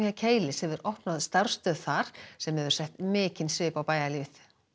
Keilis hefur opnað starfsstöð þar sem hefur sett mikinn svip á bæjarlífið